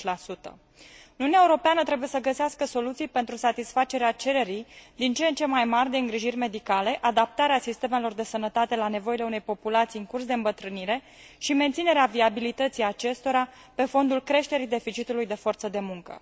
30 Uniunea Europeană trebuie să găsească soluții pentru satisfacerea cererii din ce în ce mai mari de îngrijiri medicale, adaptarea sistemelor de sănătate la nevoile unei populații în curs de îmbătrânire și menținerea viabilității acestora pe fondul creșterii deficitului de forță de muncă.